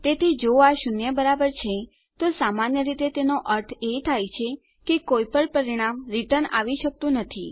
તેથી જો આ શૂન્ય બરાબર છે તો સામાન્ય રીતે તેનો એ અર્થ છે કે કોઈ પણ પરિણામ રીટર્ન આવી શકતું નથી